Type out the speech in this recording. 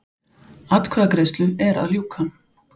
Atkvæðagreiðslu er að ljúka